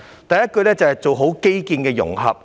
第一，要做好基建的融合。